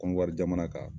Kɔnɔri jamana kan